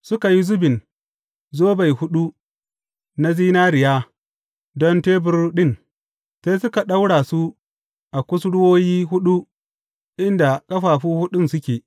Suka yi zubin zobai huɗu na zinariya don tebur ɗin, sai suka ɗaura su a kusurwoyi huɗu inda ƙafafu huɗun suke.